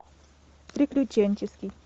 приключенческий